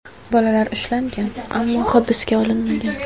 Bolalar ushlangan, ammo hibsga olinmagan.